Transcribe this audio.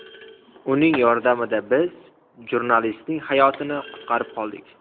Uning yordamida biz jurnalistning hayotini qutqarib qoldik.